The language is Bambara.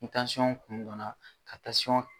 Ni kun dɔnna ka tasiyɔn